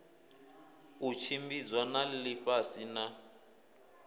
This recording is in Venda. u tshimbidzwa ha ḽifhasi na